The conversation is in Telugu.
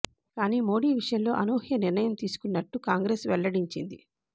కానీ మోడీ ఈ విషయంలో అనూహ్య నిర్ణయం తీసుకున్నట్టు కాంగ్రెస్ వెల్లడించింది